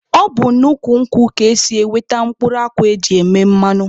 Ọ bụ n'ukwu nkwụ ka esi enweta mkpụrụ akwụ e ji eme mmanụ.